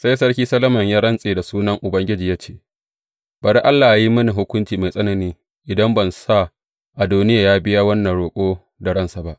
Sai Sarki Solomon ya rantse da sunan Ubangiji ya ce, Bari Allah yă yi mini hukunci mai tsanani, idan ban sa Adoniya ya biya wannan roƙo da ransa ba!